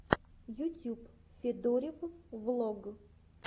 ютюб федорив влог